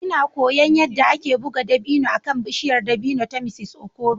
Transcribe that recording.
Ina koyon yadda ake buga dabino akan bishiyar dabino ta Mr Okoro.